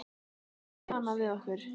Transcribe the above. Það var stjanað við okkur.